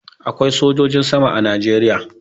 Akwai sojojin sama a Najeriya.